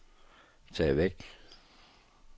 tag væk